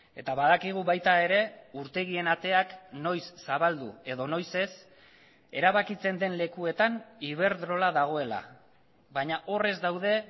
eta badakigu baita ere urtegien ateak noiz zabaldu edo noiz ez erabakitzen den lekuetan iberdrola dagoela baina hor ez daude